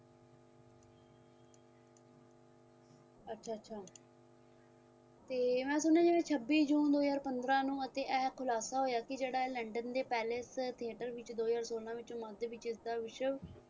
ਅੱਛਾ ਅੱਛਾ ਤੇ ਮੈਂ ਸੁਣਿਆਂ ਜਿਵੇਂ ਛੱਬੀ june ਦੋ ਹਜ਼ਾਰ ਪੰਦਰਾਂ ਨੂੰ ਇਹ ਖੁਲਾਸਾ ਹੋਇਆ ਸੀ ਜਿਹੜਾ ਇਹ londen ਦੇ palace theater ਵਿਚ ਦੋ ਹਜ਼ਾਰ ਸੋਲਾਂ ਵਿੱਚ moyses ਦੇ ਵਿਚ ਇਸ ਦਾ ਵਿਸ਼ਵ